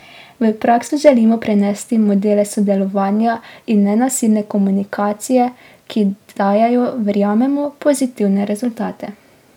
V prakso želimo prenesti modele sodelovanja in nenasilne komunikacije, ki dajejo, verjamemo, pozitivne rezultate.